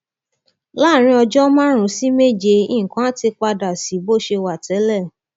láàárín ọjọ márùnún sí méje nǹkan á ti padà sí bó ṣe wà tẹlẹ